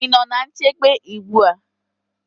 Ị nọ ná nchebe ugbu a?